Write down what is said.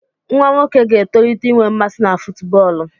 Nwa nwoke ga-etolite inwe mmasị na fútúbọọlu